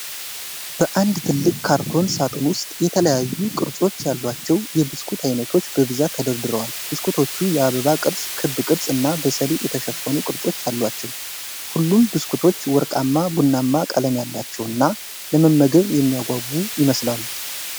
በአንድ ትልቅ ካርቶን ሳጥን ውስጥ የተለያዩ ቅርጾች ያላቸው የብስኩት አይነቶች በብዛት ተደርድረዋል። ብስኩቶቹ የአበባ ቅርፅ፣ ክብ ቅርፅ፣ እና በሰሊጥ የተሸፈኑ ቅርጾች አሏቸው። ሁሉም ብስኩቶች ወርቃማ ቡናማ ቀለም ያላቸውና ለመመገብ የሚያጓጉ ይመስላሉ።